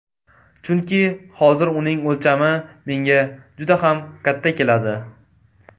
Chunki hozir uning o‘lchami menga juda ham katta keladi.